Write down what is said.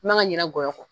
I man ka ɲina gɔyɔ kɔ